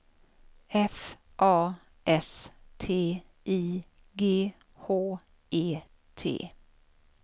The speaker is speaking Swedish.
F A S T I G H E T